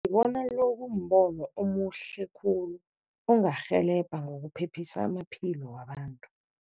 Ngibona lo kumbono omuhle khulu ongarhelebha ngokuphephisa amaphilo wabantu.